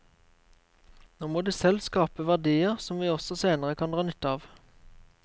Nå må de selv skape verdier som vi også senere kan dra nytte av.